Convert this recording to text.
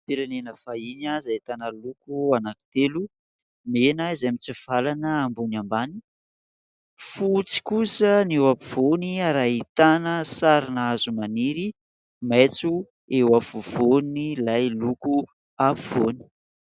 Firenena vahiny izay ahitana loko anankitelo : mena izay mitsivalana ambony ambany , fotsy kosa ny eo ampovoany ary ahitana sarina hazo maniry maitso eo afovoan' ilay loko afovoany.